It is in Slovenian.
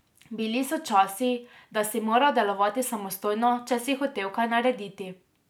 Bili so časi, da si moral delovati samostojno, če si hotel kaj narediti.